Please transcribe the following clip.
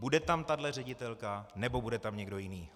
Bude tam tahle ředitelka, nebo tam bude někdo jiný?